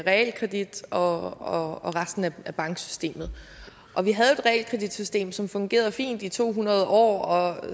realkredit og resten af banksystemet og vi havde realkreditsystem som fungerede fint i to hundrede år og